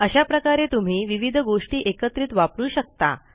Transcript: अशाप्रकारे तुम्ही विविध गोष्टी एकत्रित वापरू शकता